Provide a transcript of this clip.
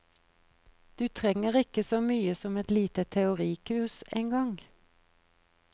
Du trenger ikke så mye som et lite teorikurs engang.